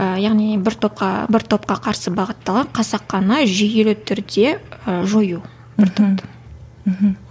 яғни бір топқа бір топқа қарсы бағыттаған қасақана жүйелі түрде ы жою бір топты мхм